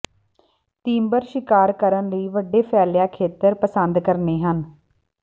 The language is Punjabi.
ਤੀਬਰ ਸ਼ਿਕਾਰ ਕਰਨ ਲਈ ਵੱਡੇ ਫੈਲਿਆ ਖੇਤਰ ਪਸੰਦ ਕਰਦੇ ਹਨ